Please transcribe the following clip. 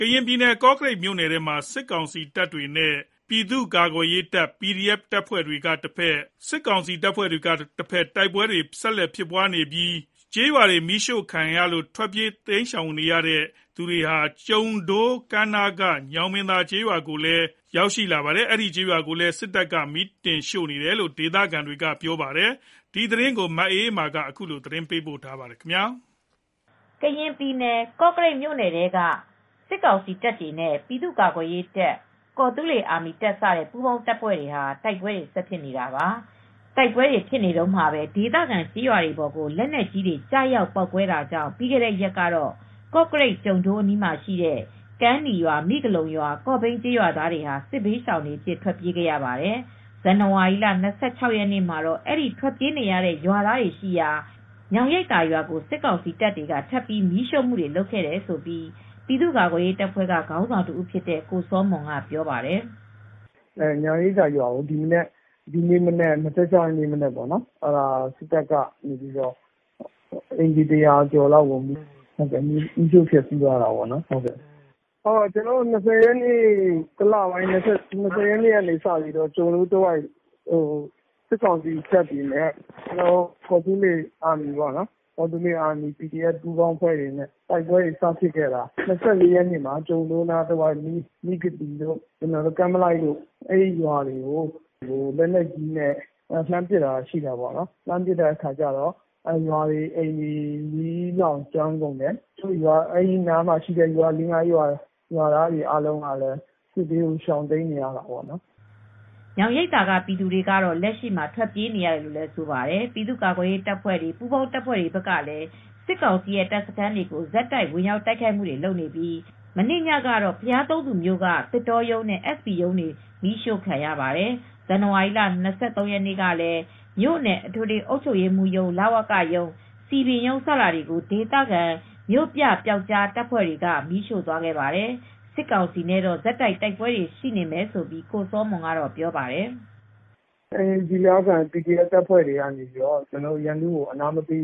ရင်ပြည်နယ် ကော့ကရိတ်မြို့နယ်ထဲမှာစစ်ကောင်စီတပ်တွေနဲ့ပြည်သူ့ကာကွယ်ရေးတပ်၊ ကော်သူလေးအာမီတပ်စတဲ့ ပူးပေါင်းတပ်ဖွဲ့တွေ တိုက်ပွဲဆက်တိုက်ဖြစ်နေပြီး ပြီးခဲ့တဲ့ရက်က မီးရှို့ခံရလို့ ထွက်ပြေးတိမ်းရှောင်လာကြသူတွေရှိတဲ့ ကျုံဒိုး ကမ်းနားက ညောင်ရိပ်သာ ကျေးရွာကိုလည်း ဇန်နဝါရီလ ၂၆ ရက်နေ့မှာ စစ်တပ် က မီးတင်ရှို့နေတယ်လို့ ဒေသခံတွေကပြောပါတယ်။ ဒီသတင်းကို ဗွီအိုအေသတင်းထောက် မအေးအေးမာကသတင်းပေးပို့ထားပါတယ်။ ကရင်ပြည်နယ် ကော့ကရိတ်မြိ့နယ်ထဲမှာ စစ်ကောင်စီတပ်တွေနဲ့ ပြည်သူကာကွယ်ရေးတပ်၊ ကော်သူလေးအာမီတပ်စတဲ့ ပူးပေါင်းတပ်ဖွဲ့တွေ တိုက်ပွဲတွေဆက်တိုက် ဖြစ်နေတာပါ။ တိုက်ပွဲတွေဖြစ်နေတုန်းမှာပဲ ဒေသခံကျေးရွာတွေပေါ်ကို လက်နက်ကြီးတွေ ကျရောက်ပေါက်ကွဲတာကြောင့် ပြီးခဲ့တဲ့ရက်ကတော့ ကော့ကရိတ်၊ ကျုံဒိုးအနီးမှာရှိတဲ့ ကမ်းနီးရွာ၊ မိဂလုံရွာ၊ ကေ့ာဘိန်းကျေးရွာသားတွေ စစ်ဘေးရှောင်တွေအဖြစ် ထွက်ပြေးခဲ့ရပါတယ်။ ဇန်နဝါရီလ ၂၆ ရက်နေ့မှာတော့ အဲဒီ ထွက်ပြေးနေတဲ့ရွာသားတွေရှိရာ ညောင်ရိပ်သာရွာကို စစ်ကောင်စီတပ်တွေက ထပ်ပြီး မီးရှို့ခဲ့တယ်လို့ ပြည်သူ့ကာကွယ်ရေးတပ်ဖွဲ့ ခေါင်းဆောင်တဦးဖြစ်တဲ့ကိုစောမွန်ကပြောပြပါတယ်။ “ညောင်ရိပ်သာရွာကို ဒီနေ့မနက် ၂၆ ရက်နေ့မနက်မှာ အိမ်ခြေ ၁၀၀ ကျော်လောက်ကို စစ်တပ်က မီးရှို့ဖျက်ဆီးသွားတာပေါ့နော်။ ဇန်နဝါရီလ၂၀ ရက်နေ့ကစပြီး ကျုံဒိုးတဝိုက်မှာ စစ်ကောင်စီတပ်တွေနဲ့ ကော်သူလေးအာမီ ပီဒီအက်ဖ်ပူးပေါင်းအဖွဲ့တွေ တိုက်ပွဲတွေစဖြစ်တော့ ကျုံဒိုးတဝိုက်က မိဂသိရွာတို့၊ ကမ်းမလိုက်ရွာတို့၊ လက်နက်ကြီးနဲ့ပစ်ခတ်တာဖြစ်တာ။ ရွာတွေ၊ အိမ်တွေ မီးလောင်ကျွမ်းကုန်တယ်။ အဲဒီတဝိုက်ရွာ လေးငါးရွာကရွာသားတွေက စစ်ဘေးတွေရှောင်နေရတယ်။” ညောင်ရိပ်သာကပြည်သူတွေကတော့ လက်ရှိမှာ ထွက်ပြေးနေရတယ်လို့ ဆိုပါတယ်။ ပြည်သူ့ကာကွယ်ရေးတပ်ဖွဲ့၊ ပူးပေါင်းတပ်ဖွဲ့တွေဘက်ကလည်း စစ်ကောင်စီရဲ့ တပ်စခန်းကို ဆက်တိုက် ဝင်ရောက်တိုက်ခိုက်နေပြီး မနေ့ညကတော့ ဘုရားသုံးဆူမြို့က သစ်တောရုံးနဲ့ SB ရုံးတွေ မီးရှို့ခံရပါတယ်။ ဇန်နဝါရီလ ၂၃ ရက်နေ့က လည်း မြို့နယ်အထွေထွေအုပ်ချုပ်ရေးမှူးရုံး၊ လဝကရုံး၊ စည်ပင်ရုံးစတာတွေကို ဒေသခံမြို့ပြပျောက်ကြားတပ်ဖွဲ့တွေက မီးရှို့သွားခဲ့ပါတယ်။ စစ်ကောင်စီနဲ့တော့ ဆက်တိုက် တိုက်ပွဲတွေရှိနေမယ်လို့ ကိုစောမွန်ကပြောပါတယ်။ “ကျနော်တို့ ဒေသခံပီဒီအက်ဖ် တပ်ဖွဲ့တွေက ရန်သူကိုအနားမပေး